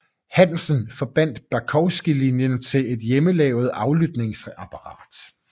Hansen forbandt Bakowski linjen til et hjemmelavet aflytningsapparat